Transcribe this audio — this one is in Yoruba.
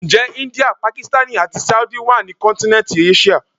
Ǹjẹ́ India, Pakistani àti Saudi wá ní kọ́ntínẹ́ntì Áṣíà?